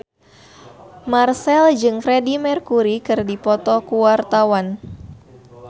Marchell jeung Freedie Mercury keur dipoto ku wartawan